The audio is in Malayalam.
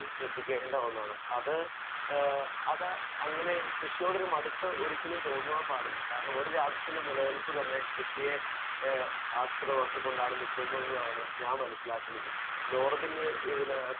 സ്പീക്കർ 1 ശ്രദ്ധിക്കേണ്ട ഒന്നാണ്. അത് ഏഹ് അപ്പൊ അങ്ങനെ കൃഷിയോട് മടുപ്പ് ഒരിക്കലും തോന്നാൻ പാടില്ല. കാരണം ഓരു രാജ്യത്തിൻ്റെ നിലനിൽപ്പ് തന്നെ കൃഷിയെ ഏഹ് ആസ്പദമാക്കി കൊണ്ടാണ് നിൽക്കുന്നത് എന്നാണ് ഞാൻ മനസ്സിലാക്കുന്നത്. നോർബിന് ഇതിന്